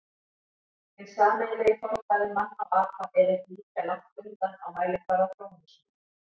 Hinn sameiginlegi forfaðir manna og apa er ekki ýkja langt undan á mælikvarða þróunarsögunnar.